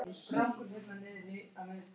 Depluhólum